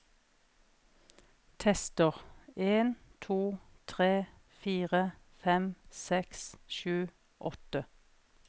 Tester en to tre fire fem seks sju åtte